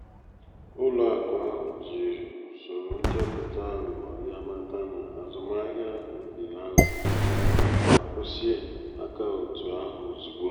ụlọ akụ ahụ jiri usoro nchọpụta aghụghọ ya mata na azụmahịa ahụ di aghugho ma kwụsị akaụntụ ahụ ozugbo.